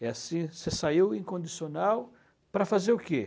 É assim, você saiu incondicional para fazer o quê?